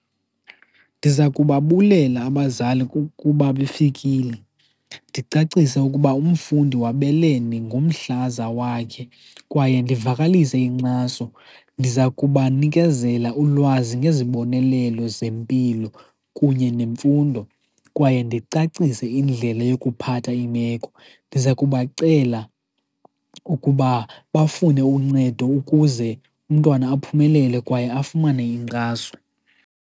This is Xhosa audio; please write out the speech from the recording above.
Ndiza kubabulela abazali kuba befikile, ndicacise ukuba umfundi wabelene ngomhlaza wakhe kwaye ndivakalise inkxaso. Ndiza kubanikezela ulwazi ngezibonelelo zempilo kunye nemfundo, kwaye ndicacise indlela yokuphatha iimeko. Ndiza kubacela ukuba bafune uncedo ukuze umntwana aphumelele kwaye afumane inkxaso.